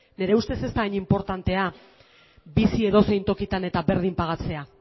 nire ustez ez da hain inportantea bizi edozein tokitan eta berdin pagatzea